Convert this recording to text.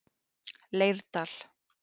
Leirdal